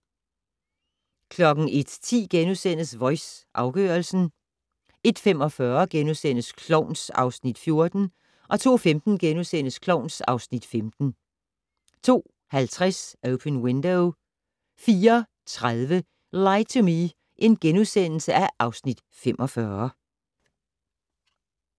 01:10: Voice - afgørelsen * 01:45: Klovn (Afs. 14)* 02:15: Klovn (Afs. 15)* 02:50: Open Window 04:30: Lie to Me (Afs. 45)*